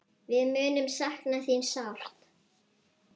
Við munum sakna þín sárt.